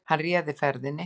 Hann réði ferðinni